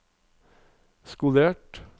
skolert